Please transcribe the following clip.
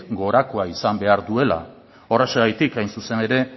gorakoa izan behar duela horrexegatik hain zuzen ere